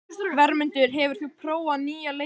Vermundur, hefur þú prófað nýja leikinn?